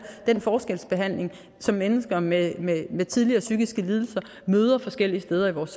den forskelsbehandling som mennesker med med tidligere psykiske lidelser møder forskellige steder i vores